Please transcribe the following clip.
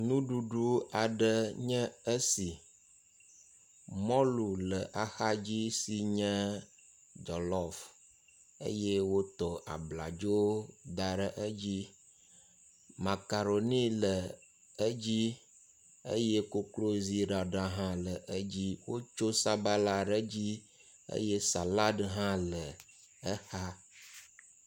ŋuɖuɖu aɖe nye esi mɔlu le axadzi sinye jɔlɔf eye woto abladzo daɖe edzi makaroni le edzi eye kokrozi ɖaɖa hã le edzi wótso sabala hã ɖe dzi eye salad hã le exa